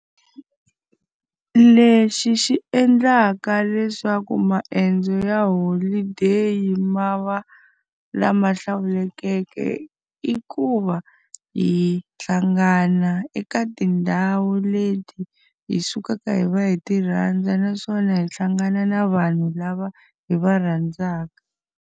Lexi xi endlaka leswaku maendzo ya holideyi mavabyi lama hlawulekeke i ku va, hi hlangana eka tindhawu leti hi sukaka hi va hi ti rhandza naswona hi hlangana na vanhu lava hi va rhandzaka.